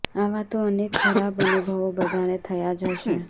આવા તો અનેક ખરાબ અનુભવો બધાને થયા જ હશે